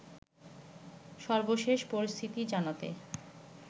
সর্বশেষ পরিস্থিতি জানাতে